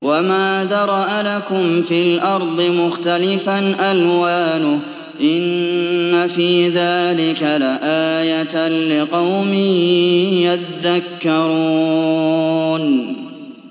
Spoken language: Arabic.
وَمَا ذَرَأَ لَكُمْ فِي الْأَرْضِ مُخْتَلِفًا أَلْوَانُهُ ۗ إِنَّ فِي ذَٰلِكَ لَآيَةً لِّقَوْمٍ يَذَّكَّرُونَ